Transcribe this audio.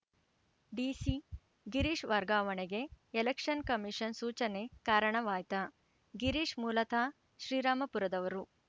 DC Girish ವರ್ಗಾವಣೆಗೆ election commission ಸೂಚನೆ ಕಾರಣವಾಯ್ತಾ ಗಿರೀಶ್‌ ಮೂಲತಃ ಶ್ರೀರಾಂಪುರದವರು